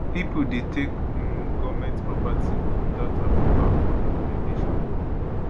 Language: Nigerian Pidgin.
pipo dey take um goment property witout approval or documentation